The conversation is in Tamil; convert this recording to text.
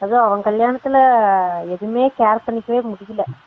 அதும் அவன் கல்யாணத்துல எதுவுமே care பண்ணிக்கவே முடியல